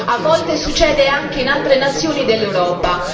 A volte succede anche in altre nazioni dell'Europa.